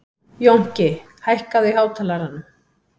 Jónki, hækkaðu í hátalaranum.